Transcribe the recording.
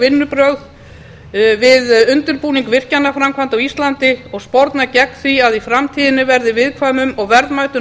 vinnubrögð við undirbúning virkjanaframkvæmda á íslandi og sporna gegn því að í framtíðinni verði viðkvæmum og verðmætum